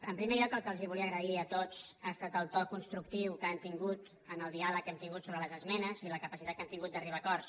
en primer lloc el que els volia agrair a tots ha estat el to constructiu que han tingut en el diàleg que hem tingut sobre les esmenes i la capacitat que han tingut d’arribar a acords